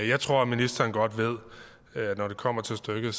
jeg tror at ministeren godt ved når det kommer stykket